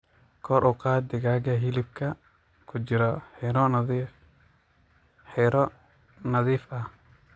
Kor u qaad digaaga hilibka ku jira xiroo nadiif ah.